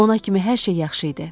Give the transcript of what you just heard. Ona kimi hər şey yaxşı idi.